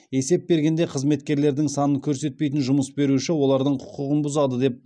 есеп бергенде қызметкерлердің санын көрсетпейтін жұмыс беруші олардың құқығын бұзады деп